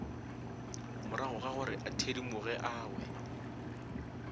moragogagore a thedimoge a we